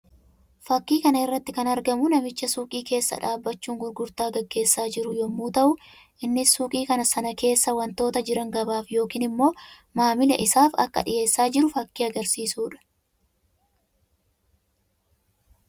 Fakkii kana irratti kan argamu namicha suuqii keessa dhaabbachuun gurgurtaa gaggeessaa jiru yammuu ta'u; innis suuqii sana keessa wantoota jiran gabaaf yookiin immoo maamila isaaf akka dhiyeessaa jiru fakkii agarsiisuu dha.